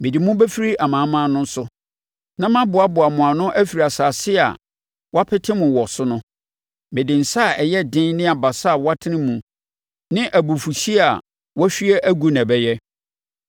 Mede mo bɛfiri amanaman no so, na maboaboa mo ano afiri nsase a wɔapete mo wɔ so no; mede nsa a ɛyɛ den ne abasa a wɔatene mu ne abufuhyeɛ a wɔahwie agu na ɛbɛyɛ.